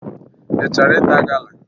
Ị chọrọ ịta gala?